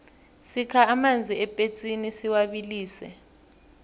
sikha amanzi epetsini siwabilise